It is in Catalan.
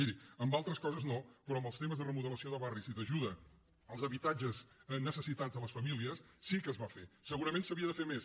miri en altres coses no però en els temes de remodelació de barris i d’ajuda als habitatges necessitats de les famílies sí que es va fer segurament s’havia de fer més